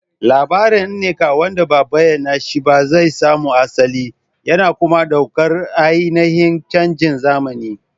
Labarin Nneka wanda ba a bayyana shi ba zai samo asali, yana kuma ɗaukar ainihin canjin zamani.